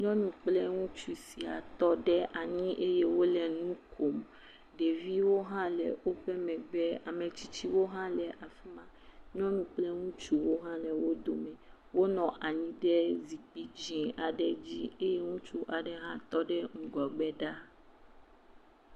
Nyɔnu kple ŋutsu sia tɔ ɖe eye wole nu kom. Ɖeviwo hã le woƒe megbe, ame tsitsiwo hã le afi ma. Nyɔnu kple ŋutsuwo hã le wo dome. Wonɔ anyi ɖe zikpi dzẽ aɖe dzi eye ŋutsu aeɖe hã tɔ ɖe ŋgɔgbe ɖaa.